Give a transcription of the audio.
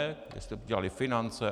Jestli ho dělaly finance?